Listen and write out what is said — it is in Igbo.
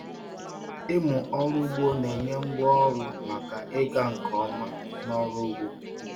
Ịmụ ọrụ ugbo na-enye ngwá ọrụ maka ịga nke ọma n'ọrụ ugbo.